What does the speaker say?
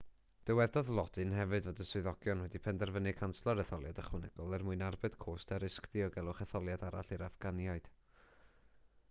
dywedodd lodin hefyd fod swyddogion wedi penderfynu canslo'r etholiad ychwanegol er mwyn arbed cost a risg diogelwch etholiad arall i'r affganiaid